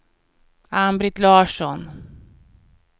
Ann-Britt Larsson